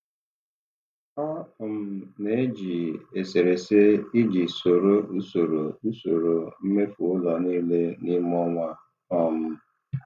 Ọ um na-eji eserese iji soro usoro usoro mmefu ụlọ niile n'ime ọnwa. um